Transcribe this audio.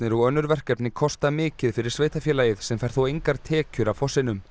og önnur verkefni kosta mikið fyrir sveitarfélagið sem fær þó engar tekjur af fossinum